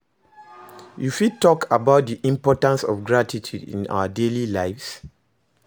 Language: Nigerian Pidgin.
You fit talk about di importance of gratitude in our daily lives?